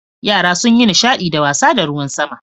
Yara sun yi nishadi da wasa da ruwan sama.